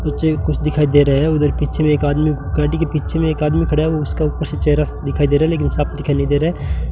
पीछे कुछ दिखाई दे रहा उधर पीछे में एक आदमी गाड़ी के पीछे मे एक आदमी खड़ा है उसका चेहरा सा दिखाई से रहा है लेकिन साफ दिखाई नहीं दे रहा है।